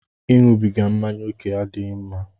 Ịṅụbiga mmáñyá oke adịghị mma